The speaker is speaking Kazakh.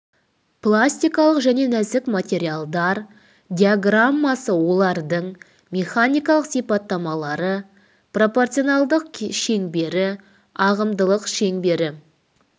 пластикалық және нәзік материалдар диаграммасы олардың механикалық сипаттамалары пропорционалдылық шеңбері ағымдылық шеңбері